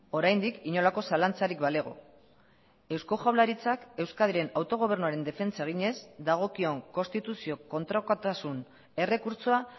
oraindik inolako zalantzarik balego eusko jaurlaritzak euskadiren autogobernuaren defentsa eginez dagokion konstituzio kontrakotasun errekurtsoa